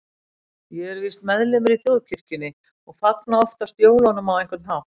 Ég er víst meðlimur í þjóðkirkjunni og fagna oftast jólunum á einhvern hátt.